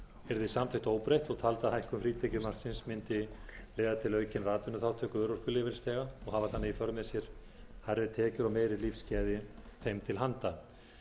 yrði samþykkt óbreytt og taldi að hækkun frítekjumarksins mundi leiða til aukinnar atvinnuþátttöku örorkulífeyrisþega og hafa þannig í för með sér hærri tekjur og meiri lífsgæði þeim til handa